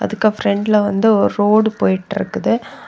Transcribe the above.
இதுக்கு பிரண்ட்ல வந்து ஒரு ரோடு போயிட்டிருக்குது.